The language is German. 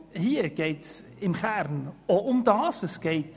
Hier geht es im Kern um dasselbe.